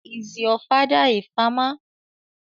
Is your father a farmer?